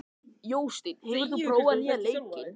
Jósteinn, hefur þú prófað nýja leikinn?